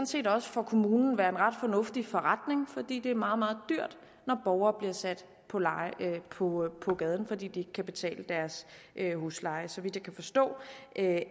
set også for kommunen være en ret fornuftig forretning fordi det er meget meget dyrt når borgere bliver sat på på gaden fordi de ikke kan betale deres husleje så vidt kan forstå